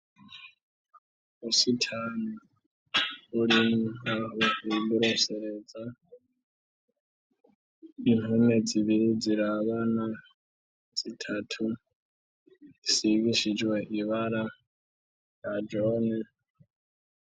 Ubusitani buri aho biborosereza, impome zibiri zirabana, zitatu zisigishijwe ibara rya jone.